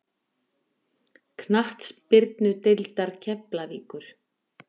Knattspyrnudeildar Keflavíkur